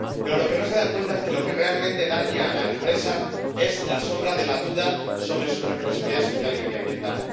Pero no se dan cuenta de que lo que realmente daña a la empresa es la sombra de la duda sobre su responsabilidad social y medioambiental.